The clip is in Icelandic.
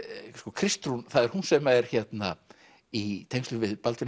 Kristrún það er hún sem er í tengslum við Baldvin